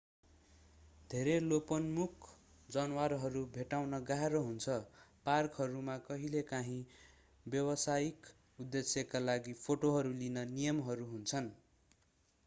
धेरै लोपन्मुख जनावरहरू भेट्टाउन गाह्रो हुन्छ पार्कहरूमा कहिलेकाहीँ व्यावसायिक उद्देश्यका लागि फोटोहरू लिन नियमहरू हुन्छन्